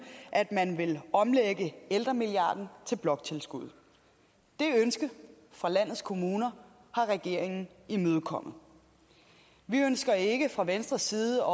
at man omlagde ældremilliarden til bloktilskuddet det ønske fra landets kommuner har regeringen imødekommet vi ønsker ikke fra venstres side